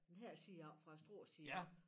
Den her side oppe fra æ Struerside af